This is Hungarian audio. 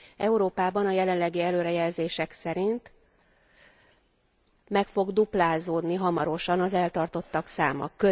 Európában a jelenlegi előrejelzések szerint meg fog duplázódni hamarosan az eltartottak száma.